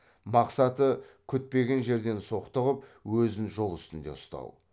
мақсаты күтпеген жерден соқтығып өзін жол үстінде ұстау